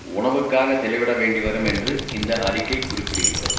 உணவுக்காக செலவிட வேண்டி வரும் என்று இந்த அறிக்கை குறிப்பிடுகிறது